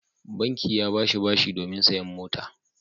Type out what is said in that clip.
Banki ya ba shi bashi domin sayen mota.